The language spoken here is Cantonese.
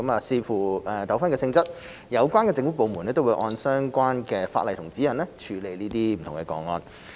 視乎糾紛的性質，有關政府部門會按相關的法例和指引處理這些個案。